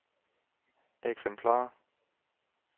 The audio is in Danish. eksemplarer